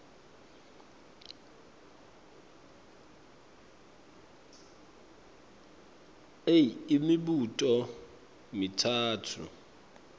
a imibuto mitsatfu